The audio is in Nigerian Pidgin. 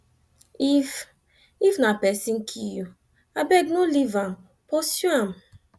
if if na pesin kill you abeg no leave am pursue am